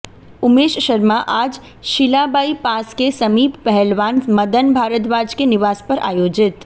उमेश शर्मा आज शीलाबाईपास के समीप पहलवान मदन भारद्वाज के निवास पर आयोजित